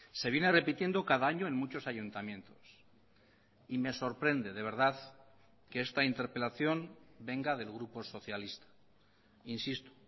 se viene repitiendo cada año en muchos ayuntamientos y me sorprende de verdad que esta interpelación venga del grupo socialista insisto